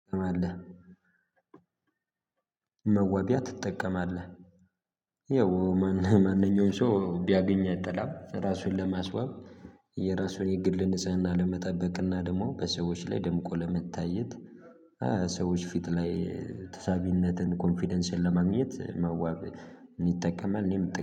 ማለህ? መዋቢያያ ትጠቀማለህ ያው ማንኛውንም ሰው ቢያገኝ አይጠላም ራሱን ለማስዋብ የራሱን የግል ንጽህና ለመጠበቅና ደግሞ በሰዎች ላይ ደምቆ ለመታየት። ሰዎች ፊት ላይ ተሳቢነትን ኮንፊደንስን ለማግኘት መዋብ ይጠቀማል እኔም